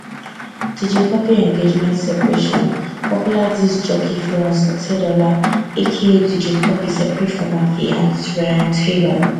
dj cuppy engagement separation popular disc jockey florence otedola aka dj cuppy separate from her fianc ryan taylor